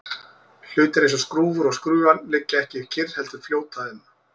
hlutir eins og skrúfur og skrúfjárn liggja ekki kyrr heldur fljóta um